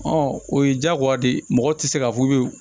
o ye diyagoya de ye mɔgɔ tɛ se k'a fɔ k'u bɛ